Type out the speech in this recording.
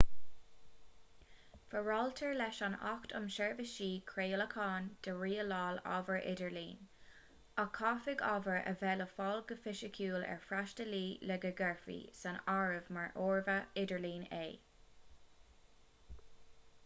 foráiltear leis an acht um sheirbhísí craolacháin do rialáil ábhar idirlín ach caithfidh ábhar a bheith le fáil go fisiciúil ar fhreastalaí le go gcuirfí san áireamh mar ábhar idirlín é